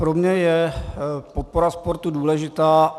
Pro mě je podpora sportu důležitá.